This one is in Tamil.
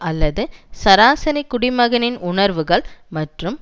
அல்லது சராசரி குடிமகனின் உணர்வுகள் மற்றும்